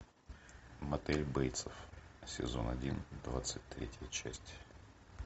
мотель бейтсов сезон один двадцать третья часть